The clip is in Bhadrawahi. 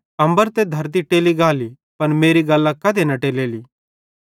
अम्बर त कने धरती टेली गाली पन मेरी गल्लां कधी न टेलेली